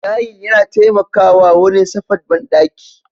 Tayil yana taimakawa wurin tsafat banɗaki